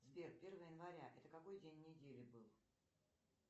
сбер первое января это какой день недели был